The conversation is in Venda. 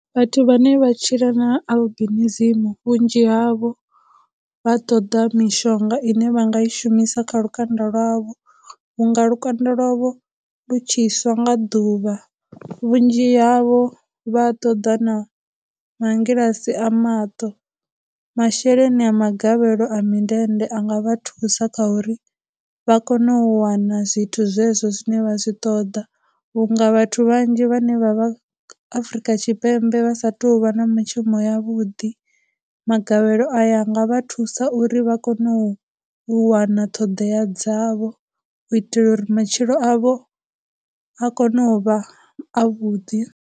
Vhathu vhane vha tshila na albinism vhunzhi havho vha ṱoḓa mishonga ine vha nga i shumisa kha lukanda lwavho vhunga lukanda lwavho lu tshi swa nga ḓuvha. Vhunzhi havho vha ṱoḓa na mangilasi a maṱo, masheleni a magavhelo a mindende a nga vha thusa kha uri vha kone u wana zwithu zwe zwo zwine vha zwi ṱoḓa vhunga vhathu vhanzhi vhane vha vha Afurika Tshipembe vha sa tu vha na mishumo ya vhuḓi, magavhelo aya a nga vha thusa uri vha kone u wana ṱhoḓea dzavho u itela uri matshilo avho a kone u vha a vhuḓi.